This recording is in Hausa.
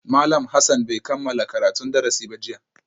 Malam Hassan bai kammala karatun darasi ba jiya